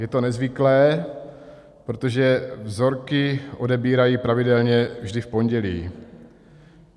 Je to nezvyklé, protože vzorky odebírají pravidelně vždy v pondělí.